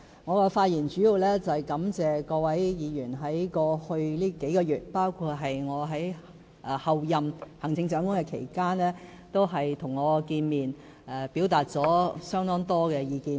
我的發言主要想感謝各位議員在過去數個月，包括在我仍是候任行政長官期間，與我見面，表達了相當多意見。